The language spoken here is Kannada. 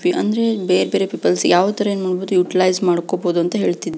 ಅಂದ್ರೆ ಬೇರ್ ಬೇರೆ ಪೀಪಲ್ಸ್ ಯಾವ ತರ ಇನ್ ಯುಟಿಲೈಜ್